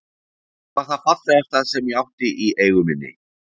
Það var það fallegasta sem ég átti í eigu minni.